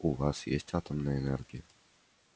у вас есть атомная энергия